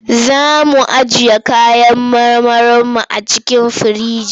Za mu ajiye kayan marmarinmu a cikin firinji.